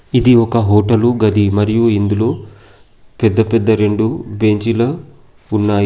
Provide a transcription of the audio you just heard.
ఇది ఒక హోటలు గది. మరియు ఇందులో పెద్ద పెద్ద రెండు బెంచీలు ఉన్నాయి.